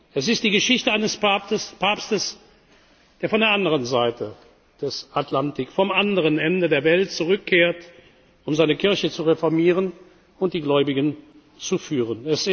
hat. Es ist die Geschichte eines Papstes, der von der anderen Seite des Atlantiks, vom anderen Ende der Welt zurückkehrt, um seine Kirche zu reformieren und die Gläubigen zu